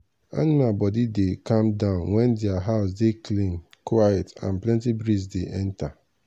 aminal body dey calm down when dia house dey clean quiet and plenty breeze dey enter.